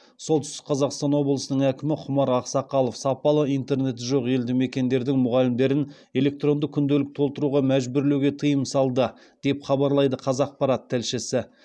солтүстік қазақстан облысының әкімі құмар ақсақалов сапалы интернеті жоқ елді мекендердің мұғалімдерін электронды күнделік толтыруға мәжбүрлеуге тыйым салды деп хабарлайды қазақпарат тілшісі